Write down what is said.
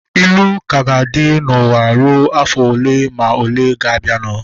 Ilu ka ga-adị n'ụwa rue afọ ole ma ole ga-abianu